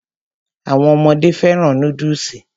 Àwọn ọmọdé fẹ́ràn núdùsì